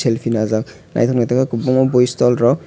selfie najak naitok naitok kei kobangma boi stoles rok.